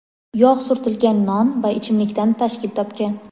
yog‘ surtilgan non va ichimlikdan tashkil topgan.